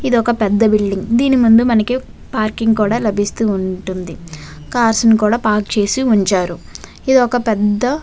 ఇది వక పెద్ద బిల్డింగ్ దీని ముందు పార్కింగ్ కూడా లభిస్తూవుంటుంది కార్స్ ని కూడా పార్కింగ్ చేసే ఉంచారు ఇది ఒక పెద్ద --